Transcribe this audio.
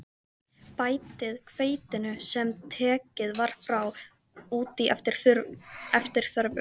Bætið hveitinu, sem tekið var frá, út í eftir þörfum.